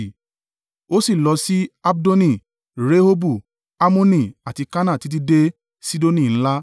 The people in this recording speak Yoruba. Ó sì lọ sí Abdoni, Rehobu, Hammoni àti Kana títí dé Sidoni ńlá.